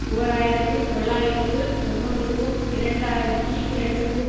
ஓர் ஆயிரத்தி தொள்ளாயிரத்து தொன்னூறுக்கும் இரண்டு ஆயிரத்தி இரண்டுக்கும்